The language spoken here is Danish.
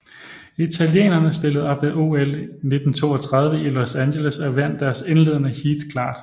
Italienerne stillede op ved OL 1932 i Los Angeles og vandt deres indledende heat klart